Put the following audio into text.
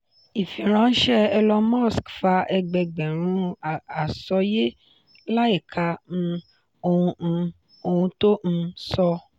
ifiranṣẹ elon musk fa ẹgbẹẹgbẹ̀rún àsọyé láìka um ohun um ohun tó um sọ.